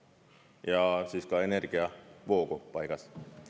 Ja siis ka energiavoog paigas.